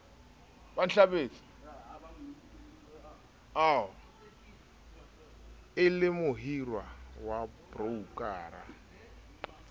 e le mohirwa wa broukara